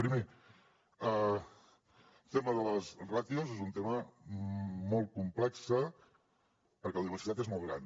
primer el tema de les ràtios és un tema molt complex perquè la diversitat és molt gran